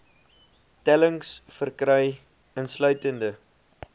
tellings verkry insluitende